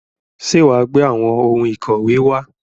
Ṣé wà á gbé àwọn ohun ìkọ̀wé wá?